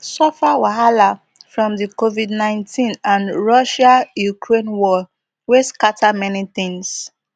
suffer wahala from di covid nineteen and russiaukraine war wey scatter many tins